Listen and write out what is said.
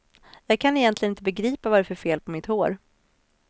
Jag kan egentligen inte begripa vad det är för fel på mitt hår.